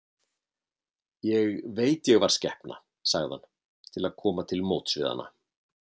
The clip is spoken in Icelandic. Ég veit ég var skepna, sagði hann til að koma til móts við hana.